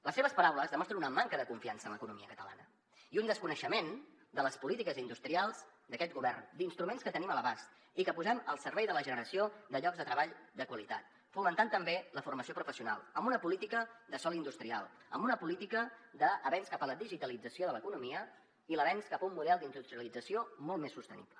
les seves paraules demostren una manca de confiança en l’economia catalana i un desconeixement de les polítiques industrials d’aquest govern d’instruments que tenim a l’abast i que posem al servei de la generació de llocs de treball de qualitat fomentant també la formació professional amb una política de sòl industrial amb una política d’avenç cap a la digitalització de l’economia i d’avenç cap a un model d’industrialització molt més sostenible